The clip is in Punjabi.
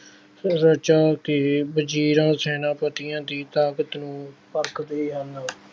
ਰਚਾ ਕੇ ਵਜ਼ੀਰਾਂ, ਸੈਨਾਪਤੀਆ ਦੀ ਤਾਕਤ ਨੂੰ ਪਰਖਦੇ ਹਨ।